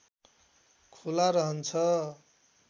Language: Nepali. खुला रहन्छ